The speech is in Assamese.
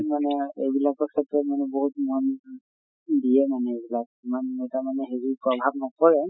মানে এইবিলাকৰ ক্ষেত্ৰত মানে বহুত মন দিয়ে মানে এইবিলাক ইমান এটা মানে হেৰি প্ৰভাৱ নপৰে